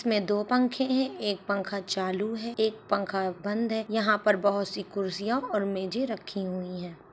स्में दो पंखे हैं। एक पंखा चालू है एक पंखा बंद है। यहाँ पर बहुत सी कुर्सियां और मेजे रखी हुई हैं।